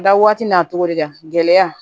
Da waati n'a togo diya gɛlɛya